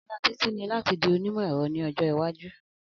Ala Titi ni lati di onimọ-ẹrọ ni ọjọ iwaju.